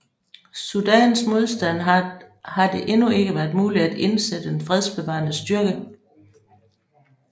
Sudans modstand har det endnu ikke været muligt at indsætte den fredsbevarende styrke